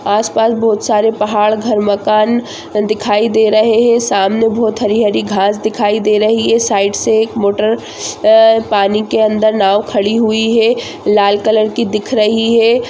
आस पास बहुत सारे पहाड़ घर मकान दिखाई दे रहे है सामने बहुत हरी हरी घास दिखाई दे रही है साइड से एक मोटर पानी के अंदर नाव खड़ी हुई है लाल कलर की दिख रही है|